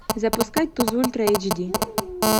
запускай туз ультра эйч ди